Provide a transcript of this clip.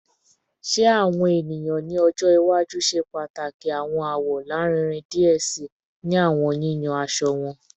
Ṣe awọn eniyan ni ọjọ iwaju ṣe pataki awọn awọ larinrin diẹ sii ni awọn yiyan aṣọ wọn?